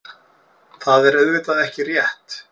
Það er auðvitað ekki rétt.